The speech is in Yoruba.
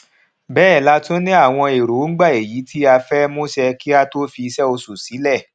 béè la tún ni àwọn èròǹgbà èyí tí a fẹ múṣẹ kí a tó fi isé osù sílè